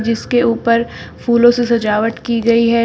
इसके ऊपर फूलों से सजावट की गई है।